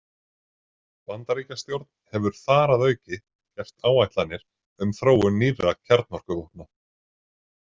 Bandaríkjastjórn hefur þar að auki gert áætlanir um þróun nýrra kjarnorkuvopna.